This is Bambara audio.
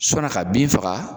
sɔnna ka bin faga.